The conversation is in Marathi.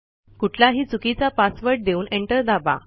कुठलाही चुकीचा पासवर्ड देऊन एंटर दाबा